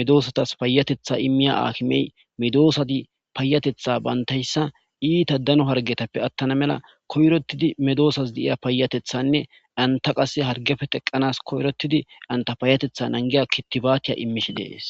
medoosatas payatetha immiya akimey medoosadi paayatetha bantayssa iita dano hargetappe attana mela koyrottidi medoosaz diiya paayatethanne anta qase hargefe teqanas koyrotidi anta payatetha angiya kittibaatiya imishi dees